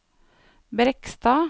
Brekstad